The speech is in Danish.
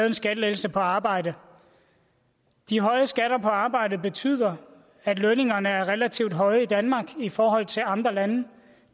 en skattelettelse på arbejde de høje skatter på arbejde betyder at lønningerne er relativt høje i danmark i forhold til andre lande